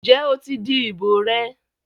ǹjẹ́ o ti di ìbò rẹ?